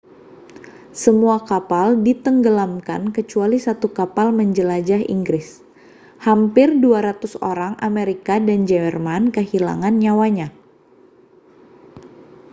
semua kapal ditenggelamkan kecuali satu kapal penjelajah inggris hampir 200 orang amerika dan jerman kehilangan nyawanya